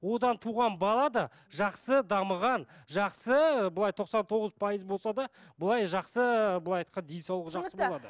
одан туған бала да жақсы дамыған жақсы былай тоқсан тоғыз пайыз болса да былай жақсы былай айтқанда денсаулығы жақсы